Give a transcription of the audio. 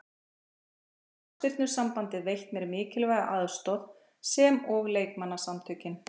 Þá hefur knattspyrnusambandið veitt mér mikilvæga aðstoð sem og leikmannasamtökin.